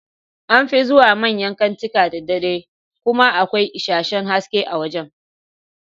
An fi zuwa manyan kantika da dare kuma akwai isasshen haske a wajan